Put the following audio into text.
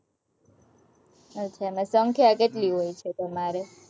અચ્છા, અને સંખ્યા કેટલી હોય છે, તમારે?